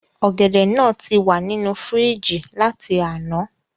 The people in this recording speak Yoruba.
Ògèdè náà tí wà nínú fírìjì láti àná